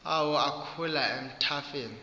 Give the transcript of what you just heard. awo akhula emathafeni